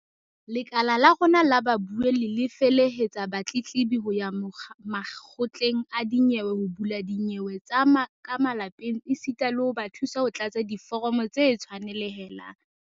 "Lekala la rona la babuelli le felehetsa batletlebi ho ya makgotleng a dinyewe ho bula dinyewe tsa ka malapeng esita le ho ba thusa ho tlatsa diforomo tse tshwanelehang."